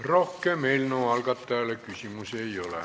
Rohkem eelnõu algatajale küsimusi ei ole.